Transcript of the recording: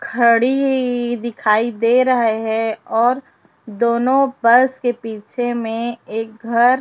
घड़ी दिखाई दे रहे है और दोनो पर्स के पीछे मे एक घर--